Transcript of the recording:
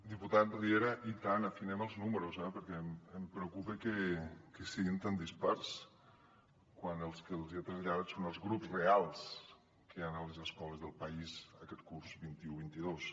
diputat riera i tant afinem els números eh perquè em preocupa que siguin tan dispars quan els que els hi he traslladat són els grups reals que hi han a les escoles del país aquest curs vint un vint dos